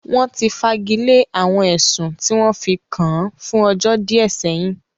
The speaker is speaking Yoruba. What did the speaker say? Wọ́n ti fagilé àwọn ẹ̀sùn tí wọ́n fi kàn án fún ọjọ́ díẹ̀ sẹ́yìn